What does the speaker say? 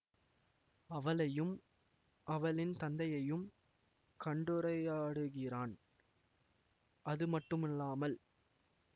அவளையும் அவளின் தந்தையையும் கண்டுரையாடுகிறான் அது மட்டுமல்லாமல்